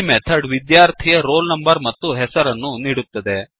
ಈ ಮೆಥಡ್ ವಿದ್ಯಾರ್ಥಿಯ roll number ಮತ್ತು ಹೆಸರನ್ನು ನೀಡುತ್ತದೆ